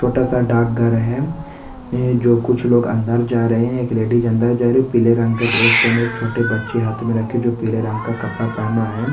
छोटा सा डाक घर है ये जो कुछ लोग अंदर जा रहे हैं एक लेडीज अंदर जा रही हैं पीले रंग का ड्रेस पहने एक छोटी बच्ची हाथ में रखे जो पीले रंग का कपड़ा पहना है।